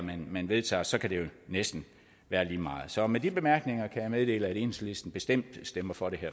man vedtager så kan det jo næsten være lige meget så med de bemærkninger kan jeg meddele at enhedslisten bestemt stemmer for det